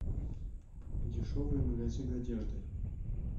дешевые магазины одежды